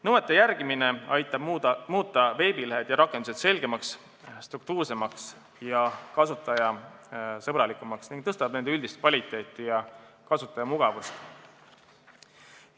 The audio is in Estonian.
Nõuete järgimine aitab muuta veebilehed ja rakendused selgemaks, struktuursemaks ja kasutajasõbralikumaks, parandab nende üldist kvaliteeti ja suurendab kasutajamugavust.